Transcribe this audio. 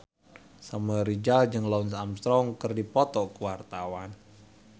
Samuel Rizal jeung Lance Armstrong keur dipoto ku wartawan